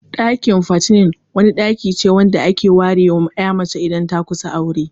Dakin "Fattening", wata ɗaki ce wacce aka ware ma 'ya mace idan ta kusa aure.